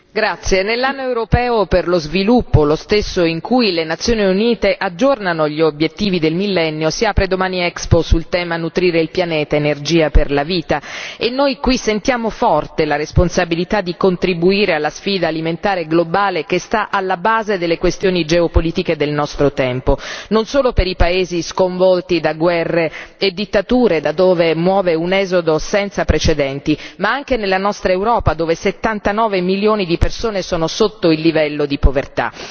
Signora Presidente, onorevoli colleghi, nell'Anno europeo per lo sviluppo, lo stesso in cui le Nazioni Unite aggiornano gli Obiettivi del Millennio, si apre domani l'Expo sul tema Nutrire il pianeta, energia per vita, e noi qui sentiamo forte la responsabilità di contribuire alla sfida alimentare globale che sta alla base delle questioni geopolitiche del nostro tempo, non solo per i paesi sconvolti da guerre e dittature, da dove muove un esodo senza precedenti, ma anche nella nostra Europa, dove 79 milioni di persone sono sotto il livello di povertà.